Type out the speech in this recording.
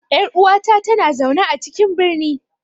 Yar uwata tana zaune a cikin birni.